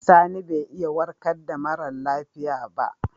Sani bai iya warka da mara lafiya ba.